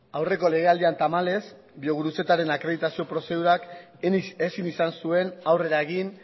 aurreko legealdian tamalez biogurutzetaren akreditazio prozedurak ezin izan zuen aurrera egin